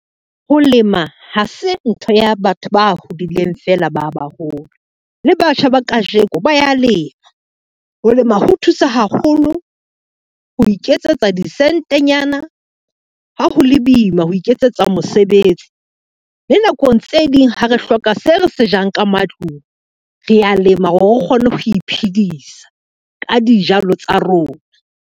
Ho lema ha se ntho ya batho ba hodileng fela ba baholo, le batjha ba kajeko ba ya lema. Ho lema ho thusa haholo ho iketsetsa disentenyana, ha ho le boima ho iketsetsa mosebetsi le nakong tse ding ha re hloka se re se jang ka matlung, re a lema hore re kgone ho iphedisa ka dijalo tsa rona.